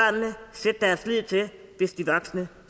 sætte deres lid til hvis de voksne